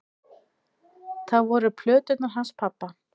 Það voru plöturnar hans pabba.